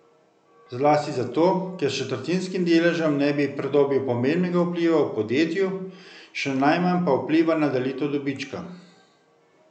Zlasti zato, ker s četrtinskim deležem ne bi pridobil pomembnega vpliva v podjetju, še najmanj pa vpliva na delitev dobička.